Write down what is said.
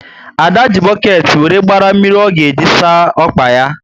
Ada ji boketi wéré gbara mmiri ọ ga eji saa ọkpa yá